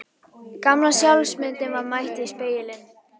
Gamla sjálfsmyndin var mætt í spegilinn.